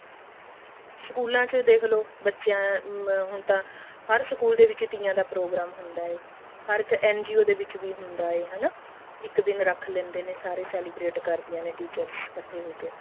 ਸਕੂਲਾਂ ਚ ਦੇਖਲੋ ਬੱਚਿਆਂ ਹੁਣ ਤਾਂ ਹਰ ਸਕੂਲ ਦੇ ਵਿੱਚ ਤੀਆਂ ਦਾ ਪ੍ਰੋਗਰਾਮ ਹੁੰਦਾ ਹੈ ਹੇ NGO ਦੇ ਵਿੱਚ ਹੁੰਦਾ ਹੈ ਹਨਾ ਇੱਕ ਦਿਨ ਰੱਖ ਲੈਂਦੇ ਨੇ ਸਾਰੇ celebrate ਕਰਦਿਆਂ ਨੇ teachers ਇੱਕਠੀ ਹੋਕੇ